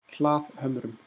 Hlaðhömrum